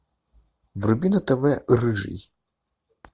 вруби на тв рыжий